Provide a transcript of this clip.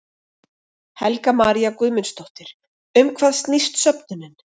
Helga María Guðmundsdóttir: Um hvað snýst söfnunin?